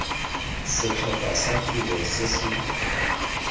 setlhopha sa tiro se se